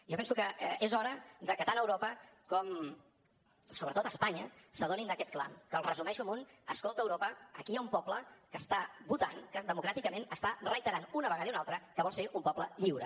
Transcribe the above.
jo penso que és hora que tant europa com sobretot espanya s’adonin d’aquest clam que el resumeixo amb un escolta europa aquí hi ha un poble que està votant que democràticament està reiterant una vegada i una altra que vol ser un poble lliure